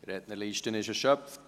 Die Rednerliste ist erschöpft.